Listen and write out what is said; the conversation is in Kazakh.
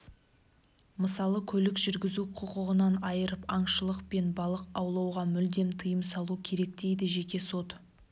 мысалы көлік жүргізу құқығынан айырып аңшылық пен балық аулауға мүлдем тыйым салу керек дейді жеке сот